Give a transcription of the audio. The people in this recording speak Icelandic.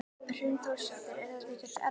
Hrund Þórsdóttir: Er þetta ekkert erfitt?